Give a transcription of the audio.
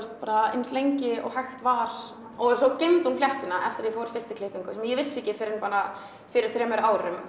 eins lengi og hægt var og svo geymdi hún fléttuna eftir að ég fór fyrst í klippingu sem ég vissi ekki fyrr en bara fyrir þremur árum